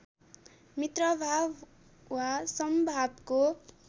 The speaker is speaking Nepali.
मित्रभाव वा समभावको